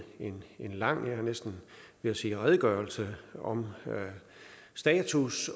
lang jeg var næsten ved at sige redegørelse om status